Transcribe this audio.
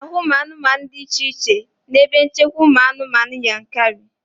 Ị na-ahụ anụmanụ dị iche iche n'ebe nchekwa ụmụ anụmanụ Yankari